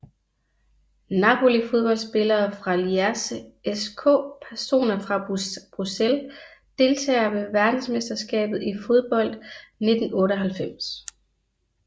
Napoli Fodboldspillere fra Lierse SK Personer fra Bruxelles Deltagere ved verdensmesterskabet i fodbold 1998